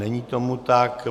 Není tomu tak.